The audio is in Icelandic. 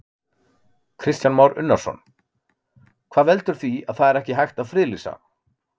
Kristján Már Unnarsson: Hvað veldur því að það er ekki hægt að friðlýsa?